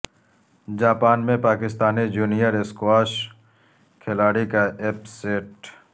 Japan میں Pakistani junior squash کھلاڑی کا اپ سیٹ